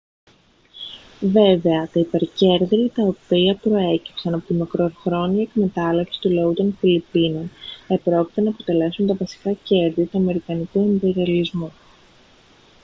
βέβαια τα υπερκέρδη τα οποία προέκυψαν από τη μακροχρόνια εκμετάλλευση του λαού των φιλιππίνων επρόκειτο να αποτελέσουν τα βασικά κέρδη του αμερικανικού ιμπεριαλισμού